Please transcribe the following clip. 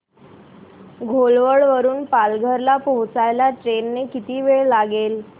घोलवड वरून पालघर ला पोहचायला ट्रेन ने किती वेळ लागेल